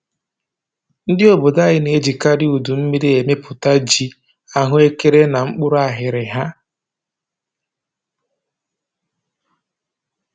Ndị obodo anyị na-ejikarị udu mmiri emepụta ji, ahụekere na mkpụrụ aghịrịgha